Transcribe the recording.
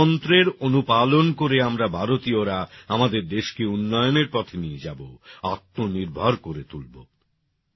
এই মন্ত্রের অনুপালন করে আমরা ভারতীয়রা আমাদের দেশকে উন্নয়নের পথে নিয়ে যাব আত্মনির্ভর করে তুলবো